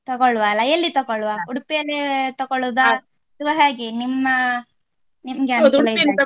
ತಗೋಳ್ವ ಅಲ್ಲ ಎಲ್ಲಿ ತಗೋಳ್ವ Udupi ಯಲ್ಲಿ ತಕೋಳುದ ಅಥವಾ ಹೇಗೆ ನಿಮ್ಮ ನಿಮಗೆ ಅನುಕೂಲ ಇದ್ದಹಾಗೆ .